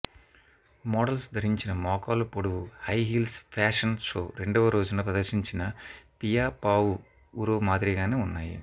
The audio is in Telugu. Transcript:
మోడల్స్ ధరించిన మోకాలు పొడవు హై హీల్స్ ఫాషన్ షో రెండవ రోజున ప్రదర్శించిన పియా పావుఉరో మాదిరిగానే వున్నాయి